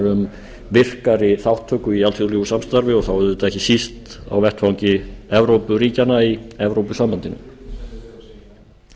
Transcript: um virkari þátttöku í alþjóðlegu samstarfi og þá auðvitað ekki síst á vettvangi evrópuríkjanna í evrópusambandinu